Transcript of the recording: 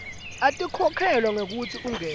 atikhokhelwa ngekutsi ungene